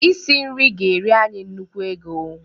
Isi nri ga-eri anyị nnukwu ego